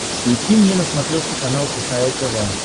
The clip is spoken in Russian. включи мне на смотрешке канал кхл тв